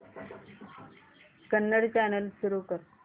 Kannada channel सुरू कर